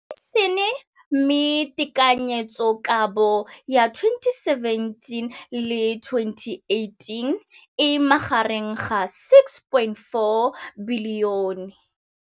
Infleišene, mme tekanyetsokabo ya 2017, 18, e magareng ga R6.4 bilione.